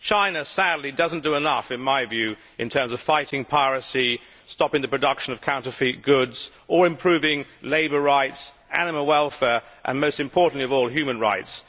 China, sadly, does not do enough in terms of fighting piracy, stopping the production of counterfeit goods or improving labour rights, animal welfare and, most importantly, human rights.